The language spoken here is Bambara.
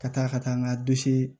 Ka taa ka taa n ka